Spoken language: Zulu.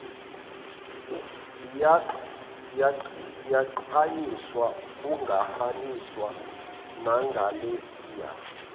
ziyagqanyiswa kungafaniswa nangalesiya